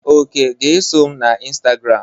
Oke ga eso m na Instagram.